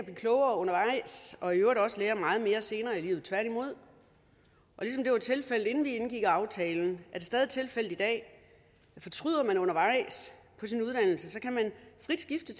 klogere undervejs og i øvrigt også lære meget mere senere i livet tværtimod ligesom det var tilfældet inden vi indgik aftalen er det stadig tilfældet i dag fortryder man undervejs på sin uddannelse kan man frit skifte